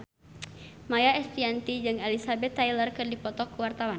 Maia Estianty jeung Elizabeth Taylor keur dipoto ku wartawan